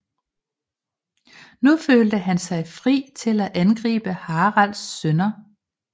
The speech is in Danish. Nu følte han sig fri til at angribe Haralds sønner